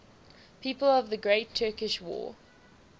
people of the great turkish war